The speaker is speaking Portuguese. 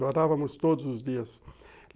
Chorávamos todos os dias.